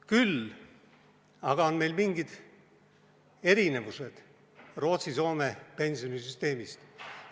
Küll aga on meil mingid erinevused Rootsi ja Soome pensionisüsteemist.